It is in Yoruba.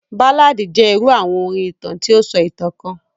Báládì jẹ irú àwọn orin ìtàn ti o sọ ìtàn kan.